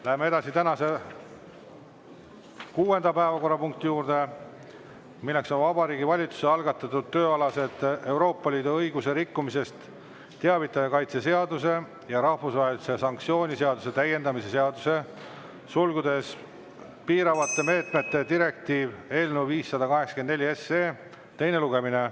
Läheme edasi tänase kuuenda päevakorrapunkti juurde, milleks on Vabariigi Valitsuse algatatud tööalasest Euroopa Liidu õiguse rikkumisest teavitaja kaitse seaduse ja rahvusvahelise sanktsiooni seaduse täiendamise seaduse eelnõu 584 teine lugemine.